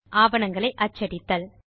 ஆவணங்களை அச்சடித்தல்